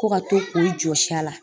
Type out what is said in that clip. Ko ka to k'o jɔsi a la.